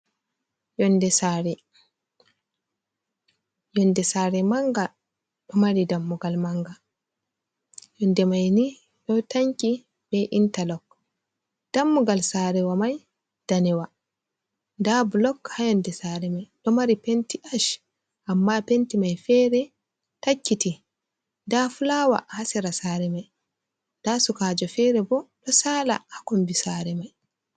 Yoonde sare, yoonde sare manga ɗo mari dammugal manga, yoonde maini ɗo tanki be intalok, dammugal sarewa mai danewa. Nda bulok ha yoonde sare mai ɗo maari penti amma penti mai feere takkiti. Nda fulawa ha seera sare mai nda suukajo feere bo ɗo saala ha konbi saare mai.